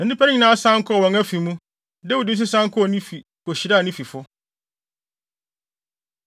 Na nnipa no nyinaa san kɔɔ wɔn afi mu. Dawid nso san kɔɔ ne fi, kohyiraa ne fifo.